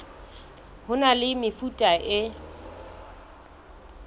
ho na le mefuta e